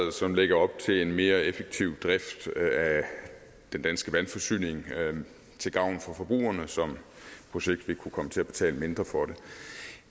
som lægger op til en mere effektiv drift af den danske vandforsyning til gavn for forbrugerne som på sigt vil kunne komme til at betale mindre for